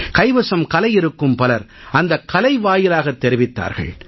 கைவசம் கலை இருக்கும் பலர் அந்தக் கலை வாயிலாகத் தெரிவித்தார்கள்